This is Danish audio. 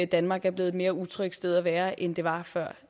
danmark er blevet et mere utrygt sted at være end det var før